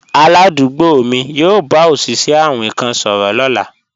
Aládùúgbò mi yóò bá òṣìṣẹ́ awin kan sọ̀rọ̀ lọ́la